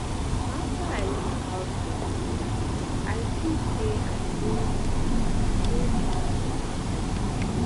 after i learn about gonorrhea i see say i no um know anything before